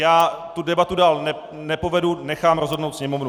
Já tu debatu dál nepovedu, nechám rozhodnout Sněmovnu.